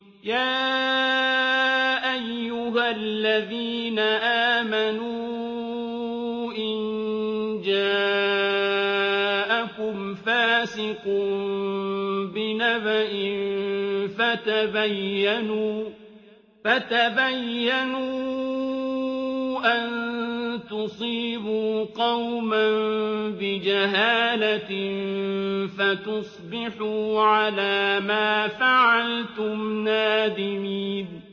يَا أَيُّهَا الَّذِينَ آمَنُوا إِن جَاءَكُمْ فَاسِقٌ بِنَبَإٍ فَتَبَيَّنُوا أَن تُصِيبُوا قَوْمًا بِجَهَالَةٍ فَتُصْبِحُوا عَلَىٰ مَا فَعَلْتُمْ نَادِمِينَ